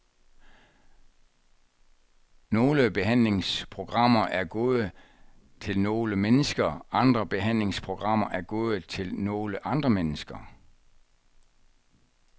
Nogle behandlingsprogrammer er gode til nogle mennesker, andre behandlingsprogrammer er gode til nogle andre mennesker.